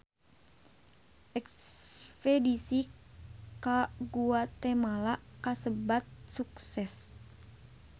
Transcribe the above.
Espedisi ka Guatemala kasebat sukses